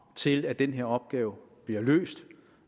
til at den her opgave bliver løst